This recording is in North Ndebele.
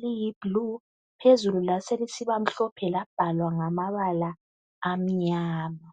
liyi bhlu phezulu laselisiba mhlophe labhalwa ngamabala amnyama